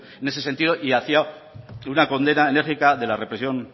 en ese sentido y hacia una condena enérgica de la represión